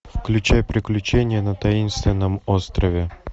включай приключения на таинственном острове